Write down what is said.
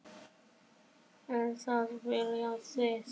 Er það vilji þinn?